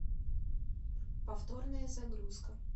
повторная загрузка